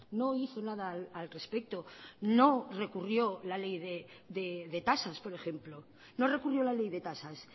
no hizo nada al respecto no recurrió la ley de tasas por ejemplo no recurrió la ley de tasas